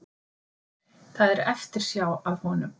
Það er eftirsjá að honum